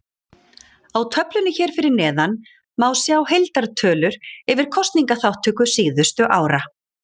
Á töflunni hér fyrir neðan má sjá heildartölur yfir kosningaþátttöku síðustu ára.